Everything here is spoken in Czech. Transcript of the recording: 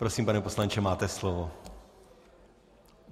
Prosím, pane poslanče, máte slovo.